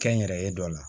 Kɛnyɛrɛye dɔ la